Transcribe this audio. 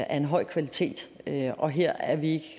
af en høj kvalitet og her er vi ikke